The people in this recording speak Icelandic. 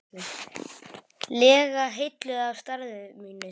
lega heilluð af starfi mínu.